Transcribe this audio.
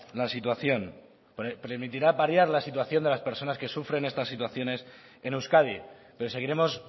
la situación de las personas que sufren estas situaciones en euskadi pero seguiremos